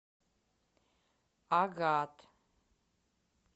агат